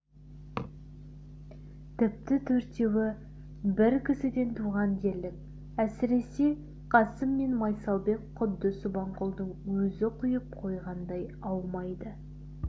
тіпті төртеуі бір кісіден туған дерлік әсіресе қасым мен майсалбек құдды субанқұлдың өзі құйып қойғандай аумайды